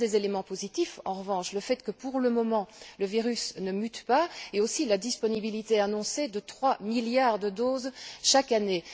Il y a des éléments positifs, en revanche, le fait que, pour le moment, le virus ne mute pas ainsi que la disponibilité annoncée de 3 milliards de doses chaque année.